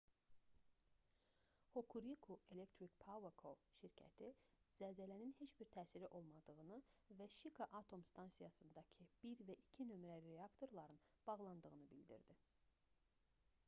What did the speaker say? hokuriku electric power co şirkəti zəlzələnin heç bir təsiri olmadığını və şika atom stansiyasındakı 1 və 2 nömrəli reaktorların bağlandığını bildirdi